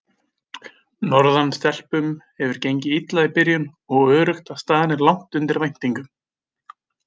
Norðan stelpum hefur gengið illa í byrjun og öruggt að staðan er langt undir væntingum.